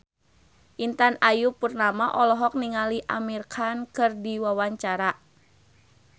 Intan Ayu Purnama olohok ningali Amir Khan keur diwawancara